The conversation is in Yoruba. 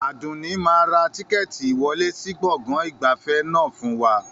Àdùnní máa ra tíkẹ́ẹ́tì ìwọlé sì gbọ̀ngàn ìgbafẹ́ náà fún wa